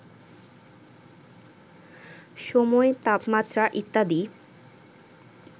সময়, তাপমাত্রা ইত্যাদি